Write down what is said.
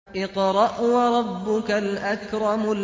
اقْرَأْ وَرَبُّكَ الْأَكْرَمُ